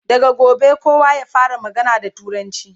daga gobe kowa ya fara magana da turanci!